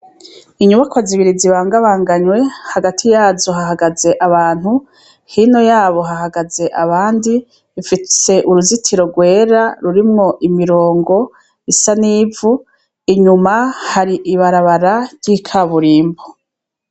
Inyubakwa zibiri zibangabanganywe hagati yazo hahagaze abantu, hino yabo hahagaze abandi, ifise uruzitiro rwera rurimo imirongo isa n'ivu inyuma hari ibarabara ry'ikaburimbo.